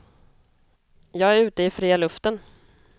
Jag är ute i fria luften.